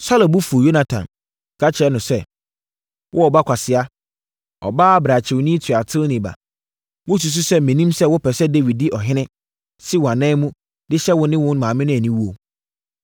Saulo bo fuu Yonatan, ka kyerɛɛ no sɛ, “Wo ɔba kwasea, ɔbaa brakyewni tuateni ba! Wosusu sɛ mennim sɛ wopɛ sɛ Dawid di ɔhene si wo anan mu de hyɛ wo ne wo maame aniwuo?